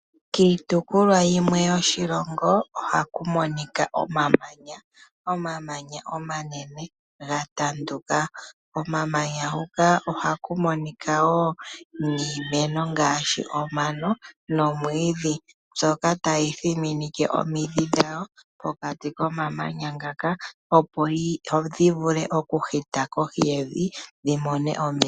Kiitopolwa yimwe yoshilongo ohaku monika omamanya, omamanya omanene ga tanduka, ko mamanya huka ohaku monika woo niimeno ngaashi omano, nomwiidhi, mbyoka tayi thiminike omidhi dhawo pokati ko mamanya ngaka, opo dhi vule oku hita kohi yevi dhi mone omeya.